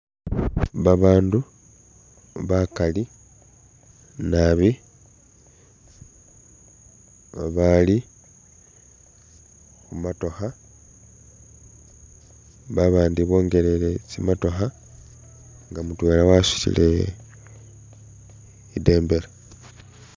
Babandu bakali nabi babali khumotokha , babandi bongelele tsimotokha nga mutwela wasutile ibendela .